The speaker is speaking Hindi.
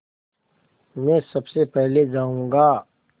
मैं सबसे पहले जाऊँगा